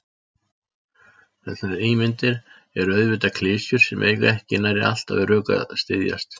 Þessar ímyndir eru auðvitað klisjur sem eiga ekki nærri alltaf við rök að styðjast.